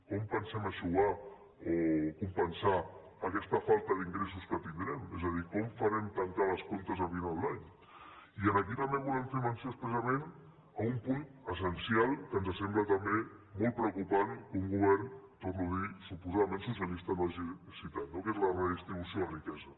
com pensem eixugar o compensar aquesta falta d’ingressos que tindrem és a dir com farem tancar els comptes a final d’any i aquí també volem fer menció expressament d’un punt essencial que ens sembla també molt preocupant que un govern ho torno a dir suposadament socialista no hagi citat no que és la redistribució de la riquesa